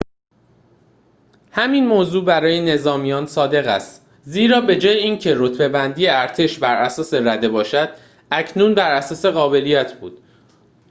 همین موضوع برای نظامیان صادق است زیرا بجای این که رتبه‌بندی ارتش براساس رده باشد اکنون براساس قابلیت بود